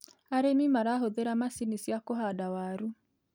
Arĩmi marahũthĩra macini cia kũhanda waru.